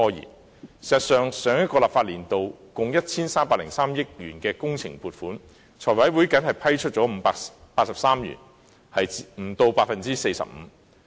事實上，上個立法年度共 1,303 億元的工程撥款，立法會財務委員會僅批出583億元，不足 45%。